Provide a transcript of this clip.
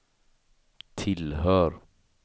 tillhör